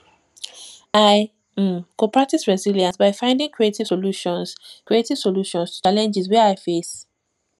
i um go practice resilience by finding creative solutions creative solutions to challenges wey i face